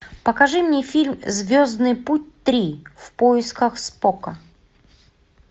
покажи мне фильм звездный путь три в поисках спока